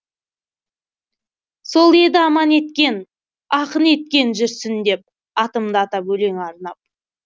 сол еді аман еткен ақын еткен жүрсін деп атымды атап өлең арнап